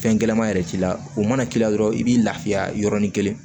Fɛn gɛlɛman yɛrɛ t'i la o mana k'i la dɔrɔn i b'i lafiya yɔrɔnin kelen